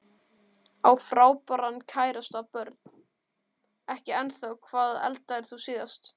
Á frábæran kærasta Börn: Ekki ennþá Hvað eldaðir þú síðast?